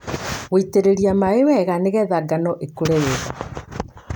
Gũitĩrĩria maĩ wega nĩgetha ngano ĩkũre wega.